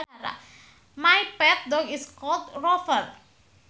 My pet dog is called Rover